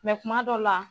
kuma dɔw la